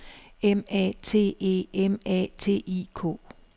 M A T E M A T I K